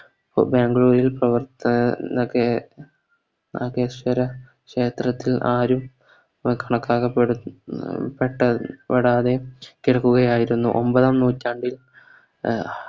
ബാംഗ്ലൂരിൽ പ്രവർത്തന നഗയ നാഗ സ്വര ക്ഷേത്രത്തിൽ ആരും പ്ര കളങ്ക ക്ക പെട പറ്റാതെ കിടക്കുകയായിരുന്നു ഒമ്പതാം നൂറ്റാണ്ടിൽ അഹ്